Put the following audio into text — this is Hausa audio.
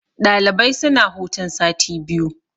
Ɗalibai suna hutun sati biyu.